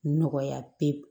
Nɔgɔya pewu